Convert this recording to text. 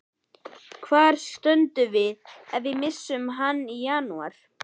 Hvar stöndum við ef við missum hann í janúar?